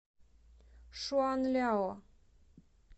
шуанляо